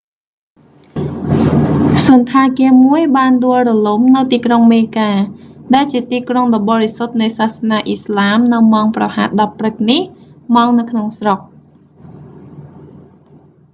សណ្ឋាគារមួយបានដួលរលំនៅទីក្រុងមេកា mecca ដែលជាទីក្រុងដ៏បរិសុទ្ធនៃសាសនាអ៊ីស្លាមនៅម៉ោងប្រហែល 10 ព្រឹកនេះ ម៉ោងនៅក្នុងស្រុក